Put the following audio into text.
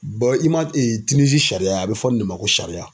i ma Tinizi sariya ye a, a be fɔ nin de ma ko sariya.